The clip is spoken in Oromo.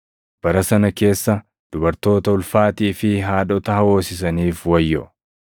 Bara sana keessa dubartoota ulfaatii fi haadhota hoosisaniif wayyoo!